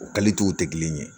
O tɛ kelen ye